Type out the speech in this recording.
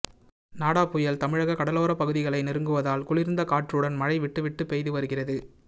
நாடா புயல் தமிழக கடலோர பகுதிகளை நெருங்குவதால் குளிர்ந்த காற்றுடன் மழை விட்டு விட்டு பெய்து வருகிறது